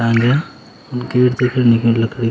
टांग्या कीर्ति खणे की लकड़ी।